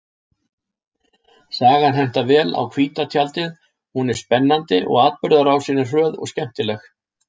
Sagan hentar vel á hvíta tjaldið, hún er spennandi og atburðarásin er hröð og skemmtileg.